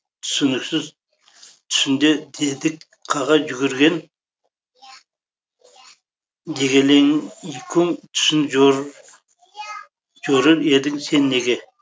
түсініксіз түсінде дедек қаға жүгірген дегелеңикум түсін жорыр едің сен неге